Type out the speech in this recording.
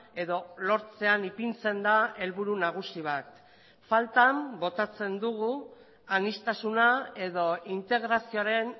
edo lortzean ipintzen da helburu nagusi bat faltan botatzen dugu aniztasuna edo integrazioaren